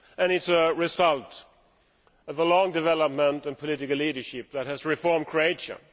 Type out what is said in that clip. It is a result of the long development in political leadership that has reformed Croatia.